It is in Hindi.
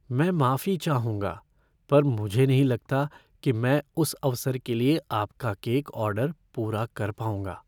मैं माफी चाहूंगा, पर मुझे नहीं लगता कि मैं उस अवसर के लिए आपका केक ऑर्डर पूरा कर पाऊंगा।